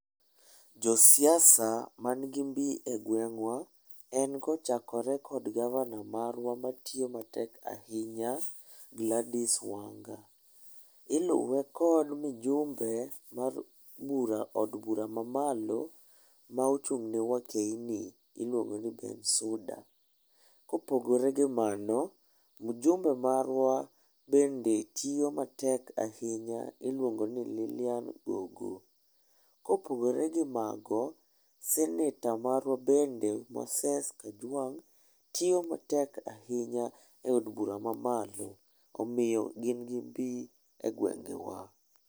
Josiasa man gi mbi e gweng'wa en kochakore kod gavana marwa matiyo matek ahinya Gladys Wanga. Iluwe kod mijumbe mar od bura mamalo ma ochung' ne wakeyne iluongo ni Bensouda. Kopogore gi mano, mjumbe marwa bende tiyo matek ahinya iluongo ni Lillian Gogo. Kopogore gi mago, seneta marwa bende Moses Kajwang' tiyo matek ahinya e od bura mamalo omiyo gin gi mbi e gwengewa.